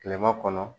Kilema kɔnɔ